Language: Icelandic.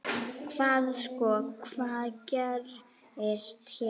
Hvað sko, hvað gerist hérna?